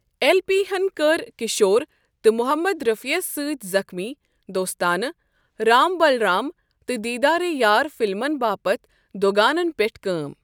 L پی ہن کٔر کِشور تہٕ محمد رفیٖعس سۭتۍ زخمی، دوستانہ، رام بلرام تہٕ دیٖدارے یار فِلمن باپت دُ گانن پیٹھ کٲم۔